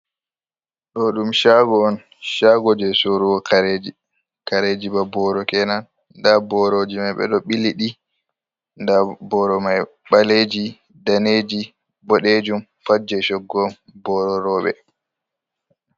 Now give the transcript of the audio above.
Ɗoo ɗum caago on, caago jey soorugo kareeji, kareeji ba booro kenan, ndaa borooji may ɓe ɗo ɓili ɗi, ndaa booro may ɓaleeji, daneeji, boɗeejum Pat jey coggu on booro rowɓe.